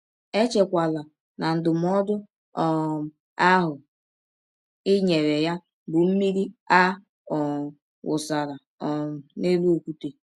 Echekwala na ndụmọdụ um ahụ i nyere ya bụ mmiri a um wụsara um n’elụ ọkwụte.